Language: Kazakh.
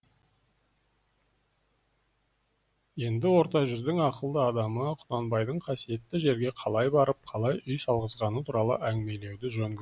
енді орта жүздің ақылды адамы құнанбайдың қасиетті жерге қалай барып қалай үй салғызғаны туралы әңгімелеуді жөн көрдік